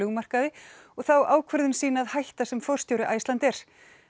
flugmarkaði og þá ákvörðun sína að hætta sem forstjóri Icelandair